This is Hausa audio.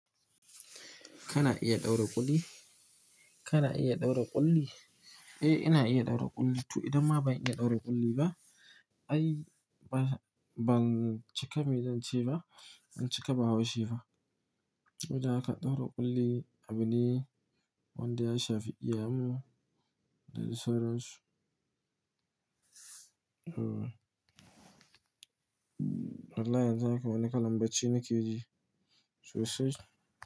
Kana iya ɗaura ƙulli? Kana iya ɗaura ƙulli? Eh, ina iya ɗaura ƙulli. To idan ma ban iya ɗaura ƙulli ba, ai ba, ban cika me zance ba, ban cika bahaushe ba. Wajen aka ɗaura ƙulli, abune wanda ya shafi iyayenmu da sauransu. Hmm. Allah yanzu haka wani kalan bacci nake ji. Sosai.